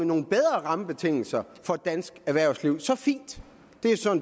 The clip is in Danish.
nogle bedre rammebetingelser for dansk erhvervsliv så fint